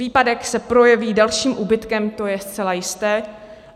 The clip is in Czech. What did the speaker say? Výpadek se projeví dalším úbytkem, to je zcela jisté.